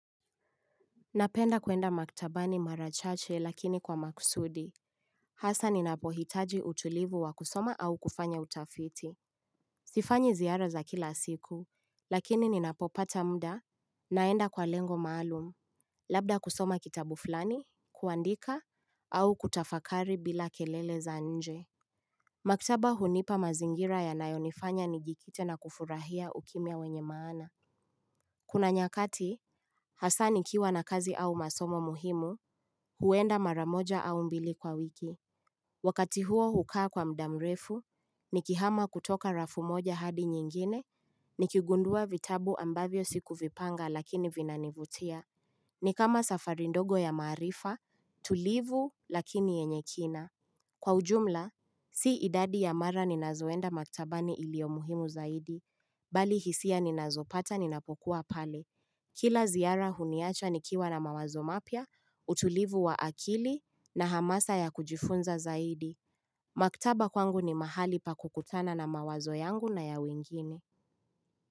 Napenda kuenda maktabani mara chache lakini kwa makusudi Hasa nina pohitaji utulivu wa kusoma au kufanya utafiti Sifanyi ziara za kila siku, lakini ninapopata muda, naenda kwa lengo maalum Labda kusoma kitabu fulani, kuandika, au kutafakari bila kelele za nje Maktaba hunipa mazingira yanayonifanya nijikite na kufurahia ukimya wenye maana Kuna nyakati, hasa nikiwa na kazi au masomo muhimu huenda mara moja au mbili kwa wiki Wakati huo hukaa kwa muda mrefu Nikihama kutoka rafu moja hadi nyingine Nikigundua vitabu ambavyo sikuvipanga lakini vinanivutia Nikama safari ndogo ya maarifa tulivu lakini yenye kina Kwa ujumla Si idadi ya mara ninazoenda maktabani iliomuhimu zaidi Bali hisia ninazopata ninapokuwa pale Kila ziara huniacha nikiwa na mawazo mapya utulivu wa akili na hamasa ya kujifunza zaidi Maktaba kwangu ni mahali pa kukutana na mawazo yangu na ya wengine.